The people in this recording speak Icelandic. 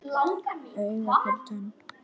Auga fyrir tönn.